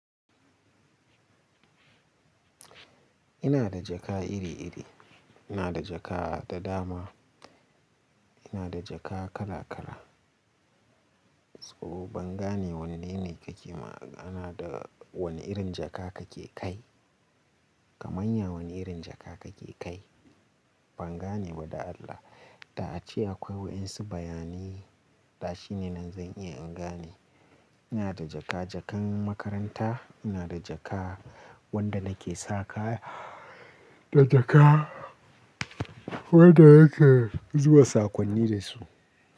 Ina da jaka iri-iri. Ina da jaka da dama. Ina da jaka kala-kala. To, ban gane wanne ne kake magana da wane irin jaka kake kai. Kamanya wane irin jaka kake kai? Ban gane ba da Allah. Da'a ci akwai waɗansu bayani. Ta shi ne nan zan iya in gane. Ina da jaka-jakan makaranta, ina da jaka wanda nake sa kaya, da jaka wanda nake zuba sakonni da su.